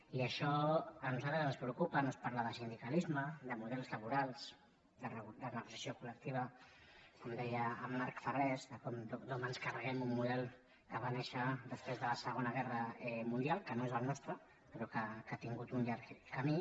i això a nosaltres ens preocupa no es parla de sindicalisme de models laborals de negociació colmarc vidal com ens carreguem un model que va néixer després de la segona guerra mundial que no és el nostre però que ha tingut un llarg camí